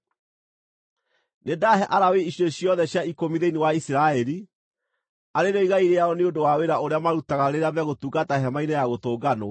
“Nĩndahe Alawii icunjĩ ciothe cia ikũmi thĩinĩ wa Isiraeli, arĩ rĩo igai rĩao nĩ ũndũ wa wĩra ũrĩa marutaga rĩrĩa megũtungata Hema-inĩ-ya-Gũtũnganwo.